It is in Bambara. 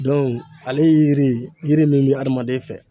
ale ye yiri min ye adamaden fɛ